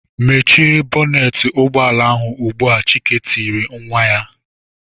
"Mechie bọnetị ụgbọala ahụ ugbu a!" Chike tiri nwa ya.